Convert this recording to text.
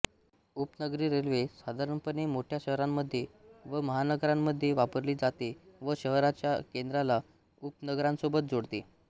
उपनगरी रेल्वे साधारणपणे मोठ्या शहरांमध्ये व महानगरांमध्ये वापरली जाते व शहराच्या केंद्राला उपनगरांसोबत जोडते